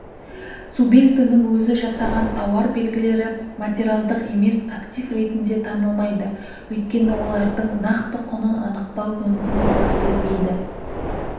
субъектінің өзі жасаған тауар белгілері материалдық емес актив ретінде танылмайды өйткені олардың нақты құнын анықтау мүмкін бола бермейді